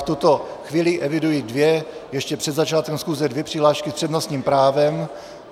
V tuto chvíli eviduji dvě, ještě před začátkem schůze dvě přihlášky s přednostním právem.